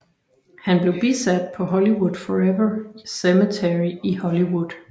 Han blev bisat på Hollywood Forever Cemetery i Hollywood